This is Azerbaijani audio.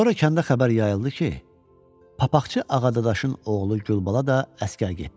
Sonra kəndə xəbər yayıldı ki, papaqçı Ağadadaşın oğlu Gülbala da əsgər getdi.